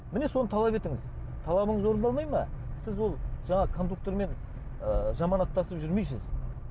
міне соны талап етіңіз талабыңыз орындалмай ма сіз ол жаңағы кондуктормен ы жаманаттасып жүрмейсіз